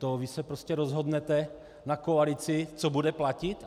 To vy se prostě rozhodnete na koalici, co bude platit?